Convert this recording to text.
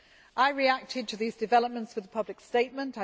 I reacted to these developments with a public statement.